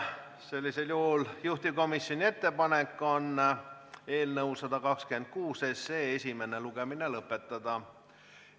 Sellisel juhul on juhtivkomisjoni ettepanek eelnõu 126 esimene lugemine lõpetada.